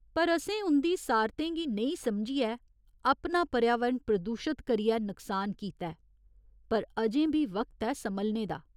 पर असें उं'दी सारतें गी नेईं समझियै अपना पर्यावरण प्रदूशत करियै नक्सान कीता ऐ पर अजें बी वक्त ऐ सम्हलने दा।